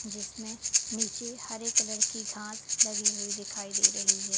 जिसमें नीचे हरे कलर की घास लगी हुई दिखाई दे रही है।